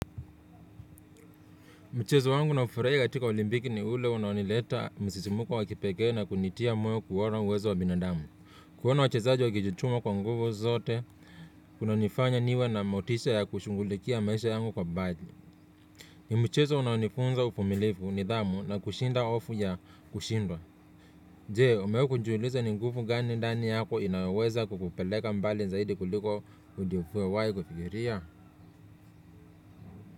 Mchezo wangu naofurahia katika olimpiki ni ule unaonileta msisimuko wa kipekee na kunitia moyo kuona uwezo wa binadamu kuona wachezaji wakijituma kwa nguvu zote, unanifanya niwe na motisha ya kushugulikia maisha yangu kwa badi. Ni mchezo unaonifunza uvumilivu nidhamu na kushinda hofu ya kushindwa. Jee, umewahi kujiuliza ni nguvu gani ndani yako inayoweza kukupeleka mbali zaidi kuliko ulivyowahi kufikiria?